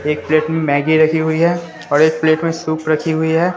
एक प्लेट में मैगी रखी हुई है और एक प्लेट में सूप रखी हुई है।